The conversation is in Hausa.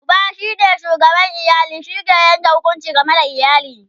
Uba shine shugaban iyali, shi ke Yanke hukunci game da iyali